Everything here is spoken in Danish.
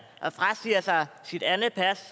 og frasiger sig sit andet pas